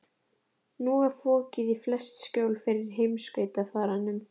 Nú var fokið í flest skjól fyrir heimskautafaranum.